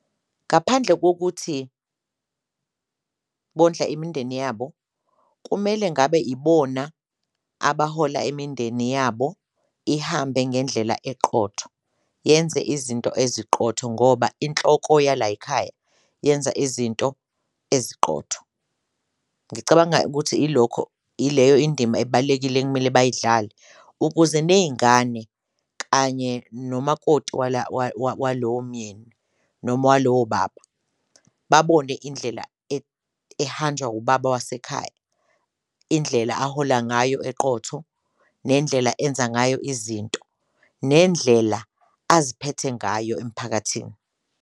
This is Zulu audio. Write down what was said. Ngaphandle kokuthi bondla imindeni yabo, kumele ngabe ibona abahola imindeni yabo ihambe ngendlela eqotho, yenze izinto eziqotho ngoba inhloko yalay'ikhaya yenza izinto eziqotho. Ngicabanga ukuthi ilokho ileyo indima ebalulekile ekumele bayidlale ukuze ney'ngane kanye nomakoti walowo mnyeni noma walowo baba babone indlela ehanjwa ubaba wasekhaya. Indlela ahola ngayo eqotho nendlela enza ngayo izinto, nendlela aziphethe ngayo emphakathini.